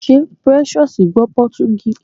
Ṣé Precious gbọ́ Pọtugí?